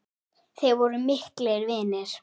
Þeir voru miklir vinir.